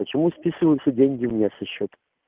почему списываются деньги у меня со счета